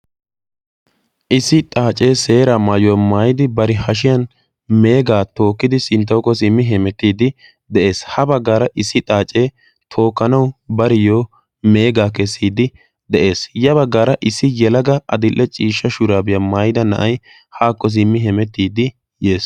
issi xaacee seera maayuwaa maayidi bari hashiyan meegaa tookkidi sinttawukko simmi hemettiiddi de7ees. ha baggaara issi xaacee tookkanau bariyyo meegaa kessiiddi de7ees. ya baggaara issi yalaga adil7e ciishsha shuraabiyaa maayida na7ai haakko simmi hemettiiddi dees.